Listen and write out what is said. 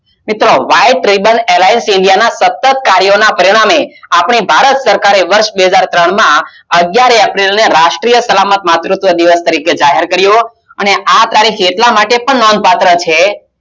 White Riban Airlines India ના સતત કાર્યના પરિણામે ભારત સરકારે બે હજાર તણ માં અગિયાર એપ્રિલ રાષ્ટિય સલામત માં માતુત્વ દિવસ તરીકે જાહેર કારીઓ હતો, આ તારીખ એટલા માટે નોંધ પાત્ર છે